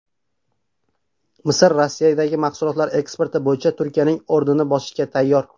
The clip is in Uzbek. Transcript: Misr Rossiyaga mahsulotlar eksporti bo‘yicha Turkiyaning o‘rnini bosishga tayyor.